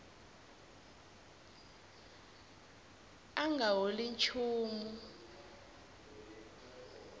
a a nga holi nchumu